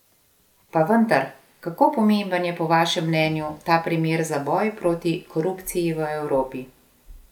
Pa vendar, kako pomemben je po vašem mnenju ta primer za boj proti korupciji v Evropi?